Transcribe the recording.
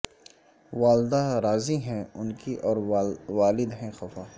والدہ راضی ہیں ان کی اور والد ہیں خفا